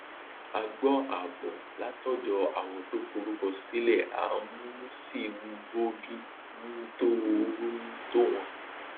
a gbọ àábọ látọdọ àwọn tó forúkọ sílẹ a um si ń bójú um tó um tó wọn